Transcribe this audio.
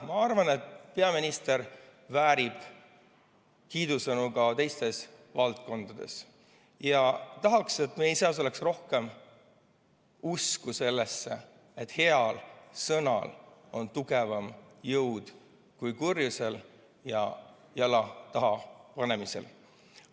Ma arvan, et peaminister väärib kiidusõnu ka teistes valdkondades, ja tahan, et meis oleks rohkem usku sellesse, et heal sõnal on tugevam jõud kui kurjusel ja jala taha panemisel.